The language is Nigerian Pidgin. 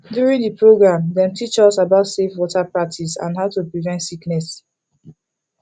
during the program dem teach us about safe water practices and how to prevent sickness